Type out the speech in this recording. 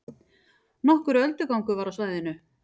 Nokkur öldugangur var á svæðinu